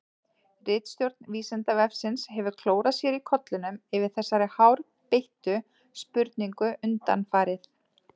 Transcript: Ritstjórn Vísindavefsins hefur klórað sér í kollinum yfir þessari hárbeittu spurningu undanfarið.